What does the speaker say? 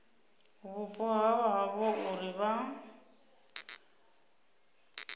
vhupo ha havho uri vha